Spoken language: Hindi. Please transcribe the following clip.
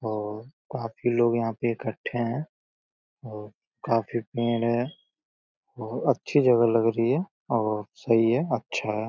और काफी लोग यहाँ पे इकट्ठे हैं और काफी भीड़ है और अच्छी जगह लग रही है और सही है अच्छा है।